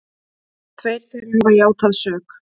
Tveir þeirra hafa játað sök